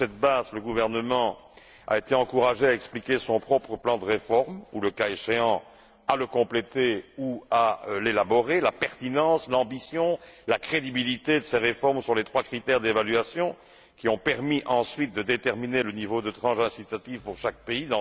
Sur cette base, le gouvernement a été encouragé à expliquer son propre plan de réforme ou, le cas échéant, à le compléter ou à l'élaborer, et à démontrer la pertinence, l'ambition, la crédibilité de ces réformes sur la base des trois critères d'évaluation qui ont permis ensuite de déterminer le niveau de tranche incitative pour chaque pays.